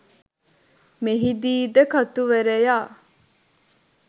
මෙහිදීද කතුවරයා